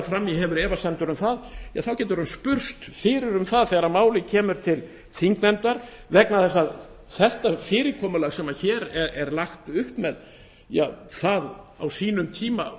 fram í hefur efasemdir um það getur hún spurst fyrir um það þegar málið kemur til þingnefndar vegna þess að það fyrirkomulag sem hér er lagt upp með var komið með á sínum tíma